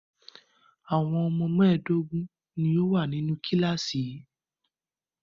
Àwọn ọmọ mẹ́ẹ̀dógún ni ó wà nínú kíláàsì yìí.